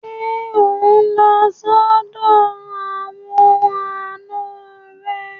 Ṣé ò ń lọ sọ́dọ̀ àwọn àna rẹ?